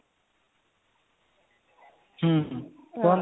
ହୁଁ କୁହନ୍ତୁ